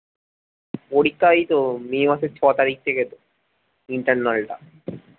পরীক্ষায় এই তো may মাসের ছ তারিখ থেকে internal টা।